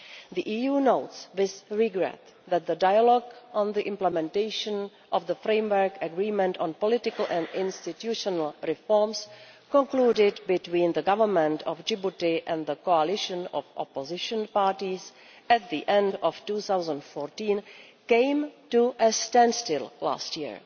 The EU notes with regret that the dialogue on the implementation of the framework agreement on political and institutional reforms, concluded between the Government of Djibouti and the coalition of opposition parties at the end of 2014, came to a standstill last year.